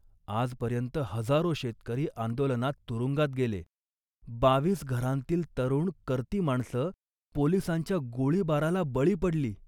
आजपर्यंत हजारो शेतकरी आंदोलनात तुरुंगात गेले. बावीस घरांतली तरुण कर्ती माणसं पोलिसांच्या गोळीबाराला बळी पडली